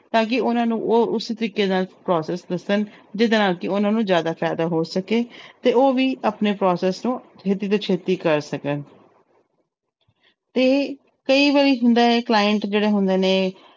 ਤਾਂ ਕਿ ਉਹਨਾਂ ਨੂੰ ਉਹ ਉਸ ਤਰੀਕੇ ਨਾਲ process ਦੱਸਣ ਜਿਹਦੇ ਨਾਲ ਕਿ ਉਹਨਾਂ ਨੂੰ ਜ਼ਿਆਦਾ ਫ਼ਾਇਦਾ ਹੋ ਸਕੇ ਤੇ ਉਹ ਵੀ ਆਪਣੇ process ਨੂੰ ਛੇਤੀ ਤੋਂ ਛੇਤੀ ਕਰ ਸਕਣ ਤੇ ਕਈ ਵਾਰੀ ਹੁੰਦਾ ਹੈ client ਜਿਹੜੇ ਹੁੰਦੇ ਨੇ